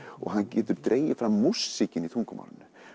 og hann getur dregið fram músíkina í tungumálinu